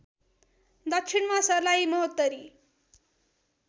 दक्षिणमा सर्लाही महोत्तरी